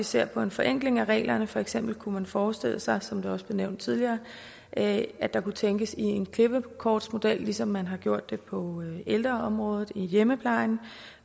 se på en forenkling af reglerne for eksempel kunne man forestille sig som det også blev nævnt tidligere at der kunne tænkes i en klippekortsmodel ligesom man har gjort det på ældreområdet i hjemmeplejen